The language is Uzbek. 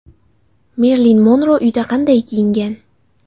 Merilin Monro uyda qanday kiyingan?